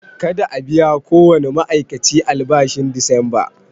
Kada a biya kowane ma'aikaci albashin disamba!